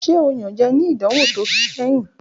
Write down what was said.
Ṣe o iyanjẹ ni idanwo to kẹhin?